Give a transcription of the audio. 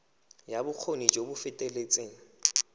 ya bokgoni jo bo feteletseng